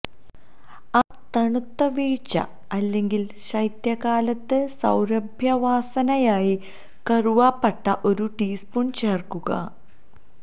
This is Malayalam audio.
ആ തണുത്ത വീഴ്ച അല്ലെങ്കിൽ ശൈത്യകാലത്ത് സൌരഭ്യവാസനയായി കറുവാപ്പട്ട ഒരു ടീസ്പൂൺ ചേർക്കുക